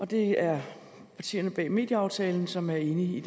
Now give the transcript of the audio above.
det er partierne bag medieaftalen som er enige i